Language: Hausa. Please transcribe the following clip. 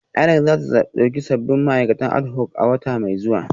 INEC za ta dauki sabbin ma'aikatan adhoc a wata mai zuwa